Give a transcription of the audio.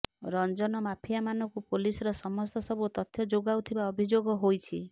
ରଞ୍ଜନ ମାଫିଆମାନକୁ ପୋଲିସର ସମସ୍ତ ସବୁ ତଥ୍ୟ ଯୋଗାଉଥିବା ଅଭିଯୋଗ ହୋଇଛି